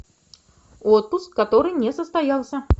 отпуск который не состоялся